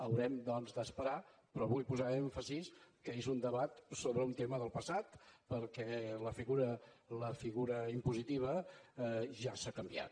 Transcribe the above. haurem doncs d’esperar però vull posar èmfasi que és un debat sobre un tema del passat perquè la figura impositiva ja s’ha canviat